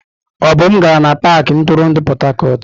Obum gara n'pakị ntụrụndụ Port Harcourt.